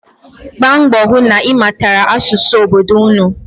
Gbaa mbọ hụ na ị mụtara asụsụ obodo ụnụ.